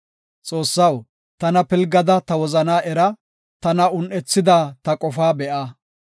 Xoossaw, tana pilgada ta wozanaa era; tana un7ethida ta qofaa be7a.